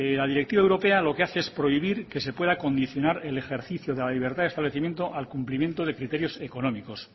la directiva europea lo que hace es prohibir que se pueda condicionar el ejercicio de la libertad de establecimiento al cumplimiento de criterios económicos